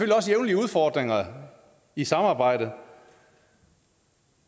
jævnligt udfordringer i samarbejdet